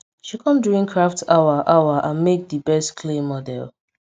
she kom during craft hour hour and mek di best clay model